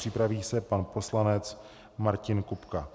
Připraví se pan poslanec Martin Kupka.